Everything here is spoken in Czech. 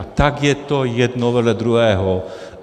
A tak je to jedno vedle druhého.